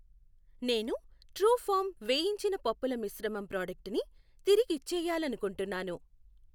నేను ట్రూఫార్మ్ వేయించిన పప్పుల మిశ్రమం ప్రాడక్టుని తిరిగిచ్చేయాలనుకుంటున్నాను.